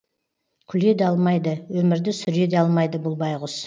күле де алмайды өмірді сүре де алмайды бұл байғұс